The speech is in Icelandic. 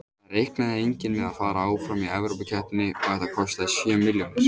Það reiknaði enginn með að fara áfram í Evrópukeppninni og þetta kostaði sjö milljónir.